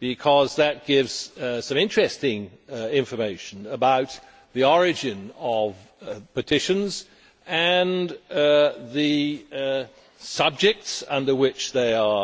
because that gives some interesting information about the origin of petitions and the subjects with which they are